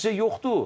Nəticə yoxdur.